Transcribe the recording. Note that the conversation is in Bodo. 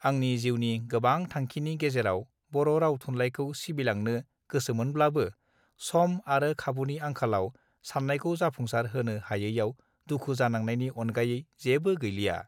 आंनि जिउनि गोबां थांखिनि गेजेराव बर राव थुनलाइखौ सिबिलांनो गोसोमोनब्लाबो सं आरो खाबुनि आंखालाव सान्नायखौ जाफुंसार होनो हायैआव दुखु जानांनायनि अनगायै जेबो गैलिया